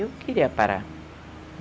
Eu queria parar.